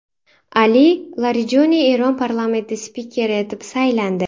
Ali Larijoniy Eron parlamenti spikeri etib saylandi.